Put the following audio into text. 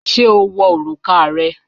Ṣé o wọ̀ orúkà rẹ̀?